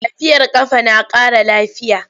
Tafiyar ƙafa na ƙara lafiya.